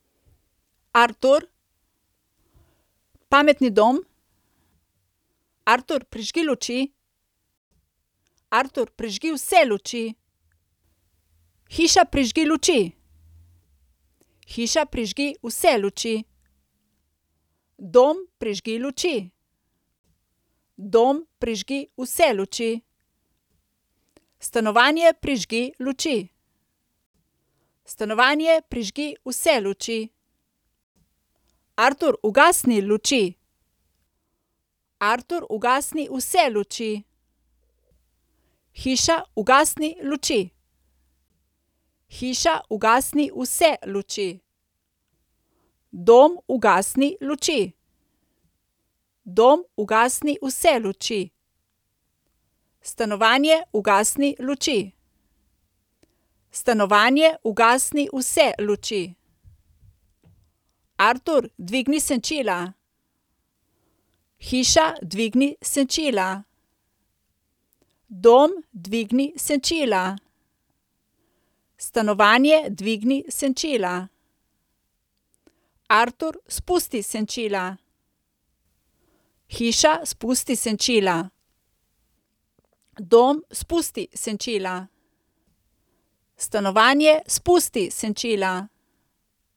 Artur. Pametni dom. Artur, prižgi luči. Artur, prižgi vse luči. Hiša, prižgi luči. Hiša, prižgi vse luči. Dom, prižgi luči. Dom, prižgi vse luči. Stanovanje, prižgi luči. Stanovanje, prižgi vse luči. Artur, ugasni luči. Artur, ugasni vse luči. Hiša, ugasni luči. Hiša, ugasni vse luči. Dom, ugasni luči. Dom, ugasni vse luči. Stanovanje, ugasni luči. Stanovanje, ugasni vse luči. Artur, dvigni senčila. Hiša, dvigni senčila. Dom, dvigni senčila. Stanovanje, dvigni senčila. Artur, spusti senčila. Hiša, spusti senčila. Dom, spusti senčila. Stanovanje, spusti senčila.